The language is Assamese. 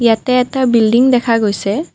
ইয়াতে এটা বিল্ডিং দেখা গৈছে।